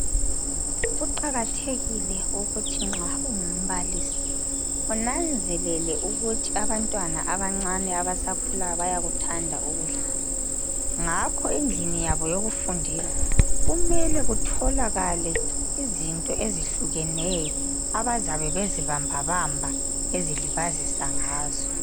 Kuqakathekile ukuthi nxa ungumbalisi unanzelele ukuthi abantwana abancane abasakhulayo bayakuthanda ukudlala ngakho endlini yabo yokufundela kumele kutholakale izinto ezihlukeneyo abazabe bezibambabamba bezilibazisa ngazo.